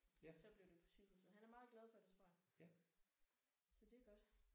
Så blev det på sygehuset han er meget glad for det tror jeg. Så det er godt